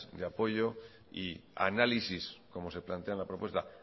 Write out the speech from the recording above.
de apoyo y como se plantea en la propuesta